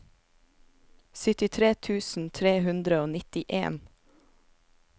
syttitre tusen tre hundre og nittien